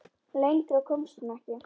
Lengra komst hún ekki.